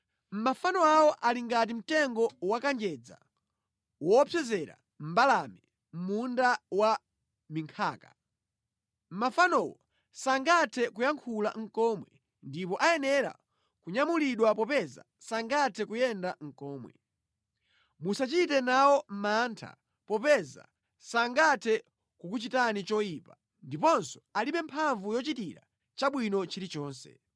Mafano awo ali ngati mtengo wakanjedza woopsezera mbalame mʼmunda wa minkhaka. Mafanowo sangathe nʼkuyankhula komwe ndipo ayenera kunyamulidwa popeza sangathe nʼkuyenda komwe. Musachite nawo mantha popeza sangathe kukuchitani choyipa ndiponso alibe mphamvu yochitira chabwino chilichonse.”